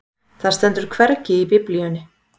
Það stendur hvergi í Biblíunni.